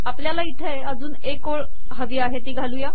आपल्याला इथे अजून एक ओळ हवी आहे ती घालू